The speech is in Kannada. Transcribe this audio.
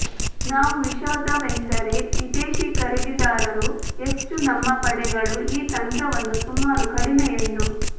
ನಾವು ವಿಷಾದವೆಂದರೆ ವಿದೇಶಿ ಖರೀದಿದಾರರು ಹೆಚ್ಚು ನಮ್ಮ ಪಡೆಗಳು ಈ ತಂತ್ರವನ್ನು ಸುಮಾರು ಕಡಿಮೆ ಎಂದು